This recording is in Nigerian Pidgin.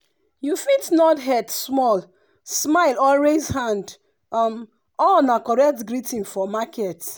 you fit nod head small smile or raise hand um all na correct greeting for market.